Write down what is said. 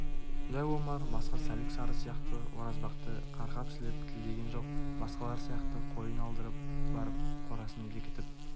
дәу омар басқа сәлік-сары сияқты оразбақты қарғап-сілеп тілдеген жоқ басқалар сияқты қойын алдырып барып қорасын бекітіп